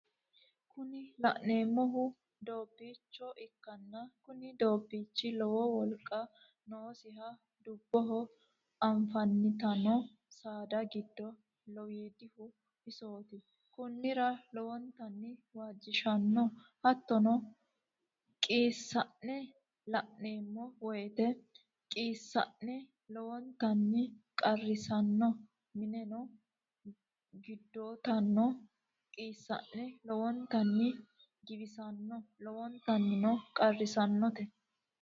Kuni la'neemohu doobbicho ikkinna kuni doobbichi lowo wolqa noosiho dubboho afantanno saada giddo lowiidihu isooti konnira lowontanni waajishanno Hattono qiissa'ne la'neemmo woyite qiisa'ne lowontanni qarrissano mineno giddottanno qiisa'ne lowontanni giwissanno lowontannino qarrissannote